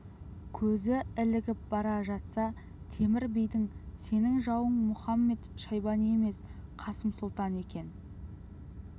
көзі ілігіп бара жатса темір бидің сенің жауың мұхамед-шайбани емес қасым сұлтан екен